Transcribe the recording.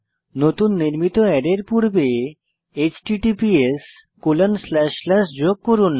নতুন নির্মিত অ্যারের পূর্বে https যোগ করুন